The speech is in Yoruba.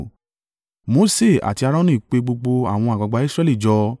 Mose àti Aaroni pe gbogbo àwọn àgbàgbà Israẹli jọ.